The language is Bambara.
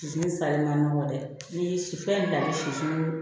Sisi sali ma nɔgɔ dɛ n'i ye sifɛn bila i be sifin